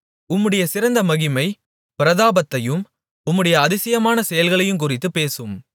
உம்முடைய சிறந்த மகிமைப் பிரதாபத்தையும் உம்முடைய அதிசயமான செயல்களையுங்குறித்துப் பேசுவேன்